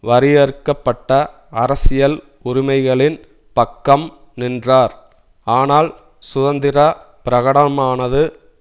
வரையறுக்க பட்ட அரசியல் உரிமைகளின் பக்கம் நின்றார் ஆனால் சுதந்திர பிரகடனமானது